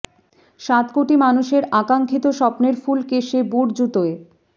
সাত কোটি মানুষের আকাঙ্ক্ষিত স্বপ্নের ফুলকে সে বুট জুতোয়